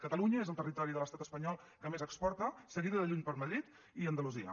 catalunya és el territori de l’estat espanyol que més exporta seguida de lluny per madrid i andalusia